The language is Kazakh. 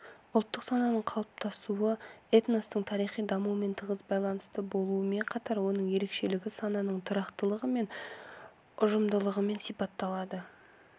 ұлттық сананың қалыптасуы этностың тарихи дамуымен тығыз байланысты болуымен қатар оның ерекшелігі сананың тұрақтылығы мен ұжымдылығымен сипатталады